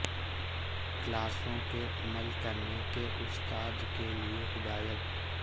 کلاسوں کے عمل کرنے کے استاد کے لئے ہدایات